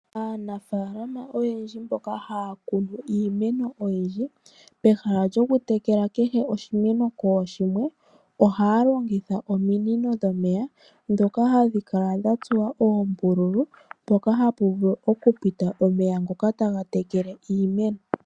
Aanafaalama oyendji mboka haya kunu iimeno oyindji, pehala lyoku tekela oshimeno kooshimwe, ohaya longitha omino dhomeya, dhoka hadhi kala dha tsuwa oombulu, mpoka hapu vulu kupita omeya ngoka taga tekele iimeno.